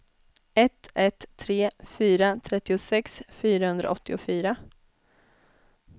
ett ett tre fyra trettiosex fyrahundraåttiofyra